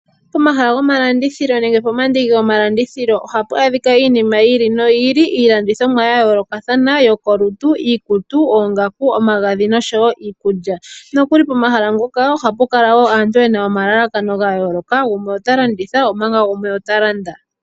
Omahala goma landithilo nenge po mandiki go malandithilo ohapu adhika iinima yi ili noyi ili. Iilandithomwa ya yoolokathana yo kolutu, iikutu, oongaku, omagadhi nosho wo iikulya. Nokuli pomahala ngoka ohapu kala wo aantu yena omalalakano ga yooloka, gumwe ota landitha omanga gumwe ota landa.